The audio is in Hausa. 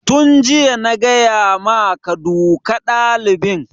Tun jiya na gaya maka ka duka ɗalibin!